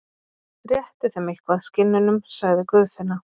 Réttu þeim eitthvað, skinnunum, sagði Guðfinna.